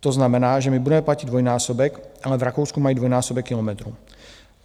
To znamená, že my budeme platit dvojnásobek, ale v Rakousku mají dvojnásobek kilometrů.